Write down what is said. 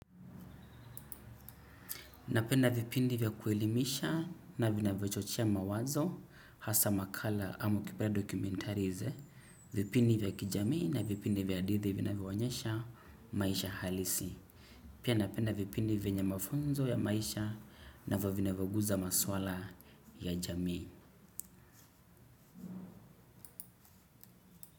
Napenda vipindi vya kuelimisha na vinavyo chochea mawazo hasa makala ama ukipenda documentaries e vipindi vya kijamii na vipindi vya hadithi vinavyoonyesha maisha halisi. Pia napenda vipindi ve nye mafunzo ya maisha na vyo vina vyo guza maswala ya jami.